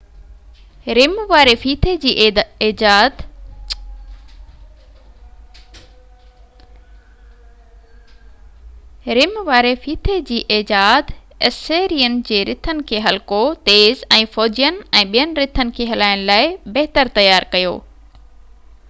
رم واري ڦيٿي جي ايجاد اسيرين جي رٿن کي هلڪو تيز ۽ فوجين ۽ ٻين رٿن کي هلائڻ لاءِ بهتر تيار ڪيو